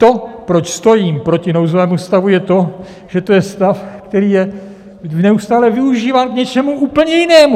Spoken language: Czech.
To, proč stojím proti nouzovému stavu, je to, že to je stav, který je neustále využíván k něčemu úplně jinému!